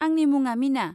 आंनि मुङा मिना।